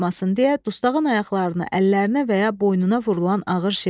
Qaçmasın deyə dustağın ayaqlarına, əllərinə və ya boynuna vurulan ağır şey.